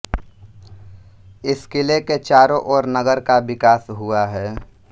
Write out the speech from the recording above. इस किले के चारों ओर नगर का विकास हुआ है